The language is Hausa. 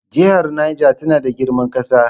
Jihar Niger tana da girman ƙasa.